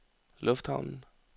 lufthavnen